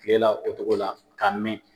Kile la o cogo la ka mɛn.